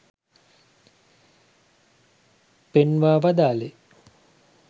පෙන්වා වදාළේ